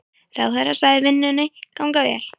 Ráðherra sagði vinnuna ganga vel.